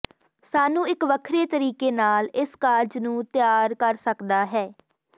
ਸਾਨੂੰ ਇੱਕ ਵੱਖਰੇ ਤਰੀਕੇ ਨਾਲ ਇਸ ਕਾਰਜ ਨੂੰ ਤਿਆਰ ਕਰ ਸਕਦਾ ਹੈ